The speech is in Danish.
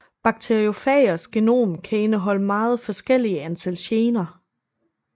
Bakteriofagers genom kan indeholde meget forskellige antal gener